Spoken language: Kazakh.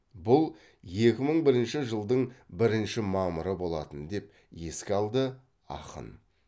бұл екі мың бірінші жылыдың бірінші мамыры болатын деп еске алды ақын